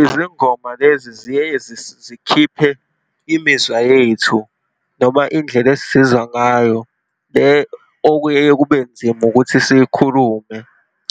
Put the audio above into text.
Izingoma lezi ziyeye zikhiphe imizwa yethu, noma indlela esizizwa ngayo, le okuyeye kube nzima ukuthi siyikhulume,